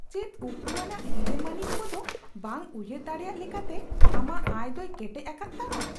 ᱪᱮᱫ ᱩᱠᱩᱣᱟᱱᱟᱜ ᱦᱤᱨᱟᱹᱢᱟᱹᱱᱤᱠ ᱠᱚ ᱫᱚ ᱵᱟᱝ ᱩᱭᱦᱟᱹᱨ ᱫᱟᱲᱮᱭᱟᱜ ᱞᱮᱠᱟᱛᱮ ᱟᱢᱟᱜ ᱟᱭ ᱫᱚᱭ ᱠᱮᱴᱮᱡ ᱟᱠᱟᱫ ᱛᱟᱢᱟ ?